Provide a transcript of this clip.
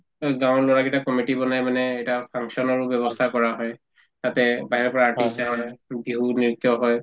এই গাঁৱৰ লৰা কেইটাই committee বনাই মানে এটা function ৰো ব্যৱস্থা কৰা হয় তাতে বাহিৰৰ পৰা artist আহে মানে বিহু নৃত্য হয়